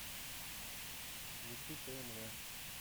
включи тнв